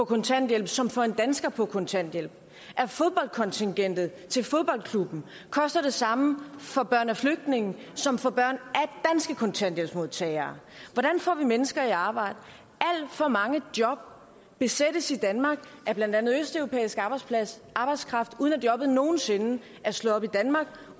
kontanthjælp som for en dansker på kontanthjælp at fodboldkontingentet til fodboldklubben koster det samme for børn af flygtninge som for børn af danske kontanthjælpsmodtagere hvordan får vi mennesker i arbejde alt for mange job besættes i danmark af blandt andet østeuropæisk arbejdskraft uden at jobbet nogen sinde er slået op i danmark